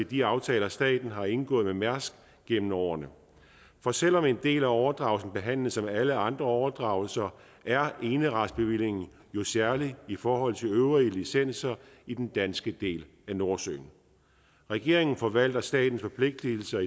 de aftaler staten har indgået med mærsk gennem årene for selv om en del af overdragelsen behandles som alle andre overdragelser er eneretsbevillingen jo særlig i forhold til øvrige licenser i den danske del af nordsøen regeringen forvalter statens forpligtigelser